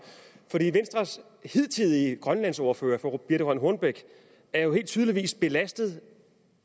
hidtidige grønlandsordfører fru birthe rønn hornbech er jo tydeligvis belastet